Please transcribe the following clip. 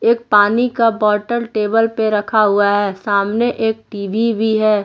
एक पानी का बॉटल टेबल पे रखा हुआ है सामने एक टी_वी भी है।